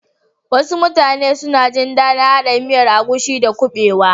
Wasu mutane suna gin dadin hada miyar agushi da kubewa.